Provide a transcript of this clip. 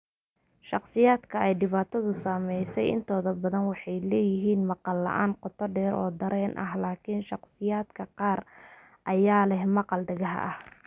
Shakhsiyaadka ay dhibaatadu saameysey intooda badan waxay leeyihiin maqal la'aan qotodheer oo dareen ah, laakiin shakhsiyaadka qaar ayaa leh maqal hadhaaga ah.